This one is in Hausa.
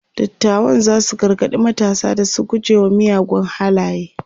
dattawan zasu gargaɗi matasa da su guje wa miyagun halaye